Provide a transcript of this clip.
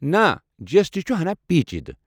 نہ جی اٮ۪س ٹی چھُ ہنا پیچیدٕ ۔